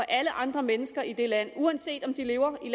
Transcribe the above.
alle andre mennesker i det land uanset om de lever i